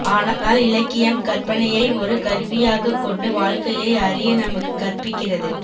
ஆனால் இலக்கியம் கற்பனையை ஒரு கருவியாகக் கொண்டு வாழ்க்கையை அறிய நமக்குக் கற்பிக்கிறது